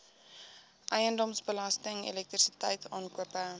eiendomsbelasting elektrisiteit aankope